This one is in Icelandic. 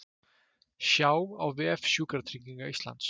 Sjá á vef Sjúkratrygginga Íslands